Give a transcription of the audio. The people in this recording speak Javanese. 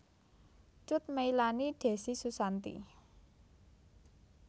Cut Meylani Decy Susanti